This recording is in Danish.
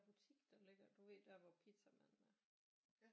Butik der ligger du ved der hvor pizzamanden er